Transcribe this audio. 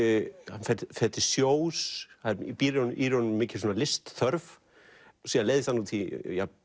hann fer til sjós það býr í honum mikil listþörf síðan leiðist hann út í